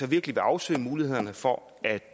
virkelig at afsøge mulighederne for at